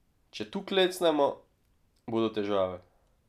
Če tu klecnemo, bodo težave.